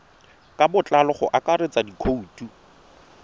ka botlalo go akaretsa dikhoutu